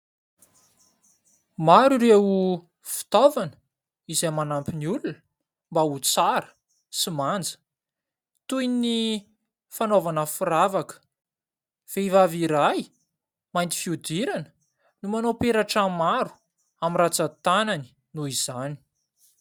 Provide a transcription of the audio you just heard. Maro ireo fitaovana izay manampy ny olona mba ho tsara sy manja, toy ny fanaovana firavaka. Vehivavy iray mainty fihodirana no manao peratra maro amin'ny rantsan-tanany noho izany.